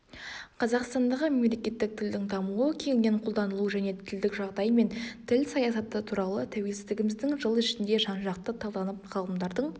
қазақстандағы мемлекеттік тілдің дамуы кеңінен қолданылу және тілдік жағдай мен тіл саясаты туралы тәуелсіздігіміздің жыл ішінде жанжақты талданып ғалымдардың